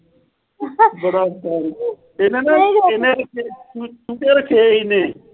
ਬੜਾ ਉਸਤਾਦ ਏ ਤੇ ਇਹਨੇ ਚੂਚੇ ਰੱਖੇ ਇਹਨੇ।